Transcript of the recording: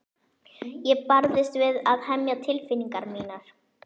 Ég barðist við að hemja tilfinningar mínar.